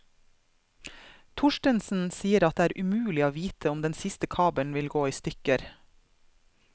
Torstensen sier at det er umulig å vite om den siste kabel vil gå i stykker.